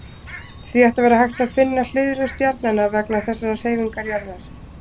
Því ætti að vera hægt að finna hliðrun stjarnanna vegna þessarar hreyfingar jarðar.